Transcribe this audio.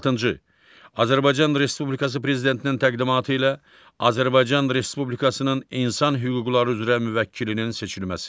Altıncı, Azərbaycan Respublikası Prezidentinin təqdimatı ilə Azərbaycan Respublikasının İnsan Hüquqları üzrə Müvəkkilinin seçilməsi.